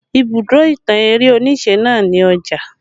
Ibùdó ìtàn eré onise náà ni Ọjà